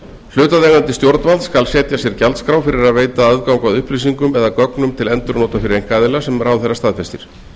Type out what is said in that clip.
hlutaðeigandi stjórnvald skal setja sér gjaldskrá fyrir að veita aðgang að upplýsingum eða gögnum til endurnota fyrir einkaaðila sem ráðherra staðfestir